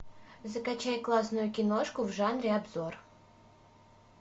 закачай классную киношку в жанре обзор